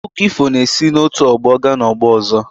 Akụkọ ifọ na-esi n’otu ọgbọ gaa n’ọgbọ ọzọ.